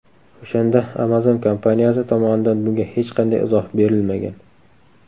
O‘shanda Amazon kompaniyasi tomonidan bunga hech qanday izoh berilmagan.